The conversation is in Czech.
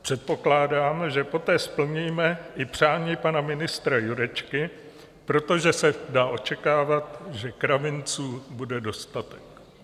Předpokládám, že poté splníme i přání pana ministra Jurečky, protože se dá očekávat, že kravinců bude dostatek.